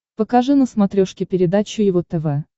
покажи на смотрешке передачу его тв